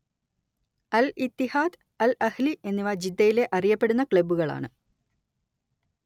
അൽ Ittihad Al Ahli എന്നിവ ജിദ്ദയിലെ അറിയപ്പെടുന്ന ക്ലബ്ബുകളാണ്